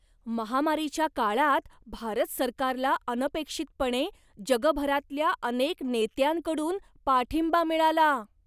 महामारीच्या काळात भारत सरकारला अनपेक्षितपणे जगभरातल्या अनेक नेत्यांकडून पाठिंबा मिळाला.